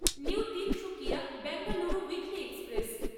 new Tinsukia Bengaluru weekly express